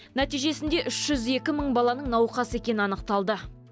нәтижесінде үш жүз екі мың баланың науқас екені анықталды